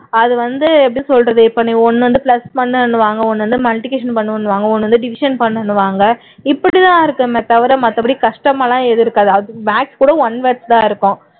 அது வந்து இப்போ எப்படி சொல்றது இப்போ நீ ஒண்ணு வந்து plus பண்ணனுன்னுவாங்க ஒண்ணு வந்து multiplication பண்ணனுன்னுவாங்க ஒண்ணு வந்து division பண்ணனுன்னுவாங்க இப்படிதான் இருக்குமே தவிர மத்தபடி கஷ்டமா எல்லாம் எதுவும் இருக்காது maths கூட one words தான் இருக்கும்